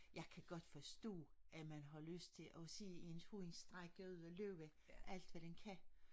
Jeg kan godt forstå at man har lyst til at ens hund strække ud og løbe alt hvad den kan